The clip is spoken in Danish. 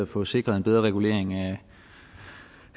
få sikret en bedre regulering af